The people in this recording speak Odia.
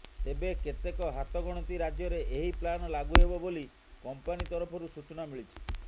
ତେବେ କେତେକ ହାତଗଣତି ରାଜ୍ୟରେ ଏହି ପ୍ଲାନ୍ ଲାଗୁ ହେବ ବୋଲି କମ୍ପାନୀ ତରଫରୁ ସୂଚନା ମିଳିଛି